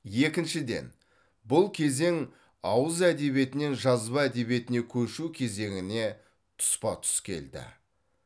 екіншіден бұл кезең ауыз әдебиетінен жазба әдебиетіне көшу кезеңіне тұспа тұс келді